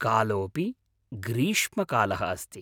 कालोऽपि ग्रीष्मकालः अस्ति!